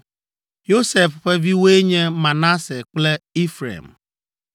Yosef ƒe viwoe nye Manase kple Efraim: